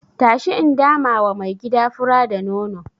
Tashi in damawa mai gida fura da nono.